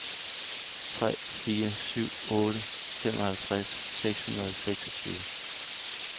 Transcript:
tre fire syv otte femoghalvtreds seks hundrede og seksogtyve